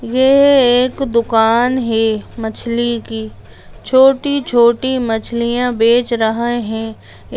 ये एक दुकान है मछली की छोटी-छोटी मछलियां बेच रहे हैं।